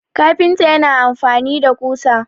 kafinta yana amfani da kusa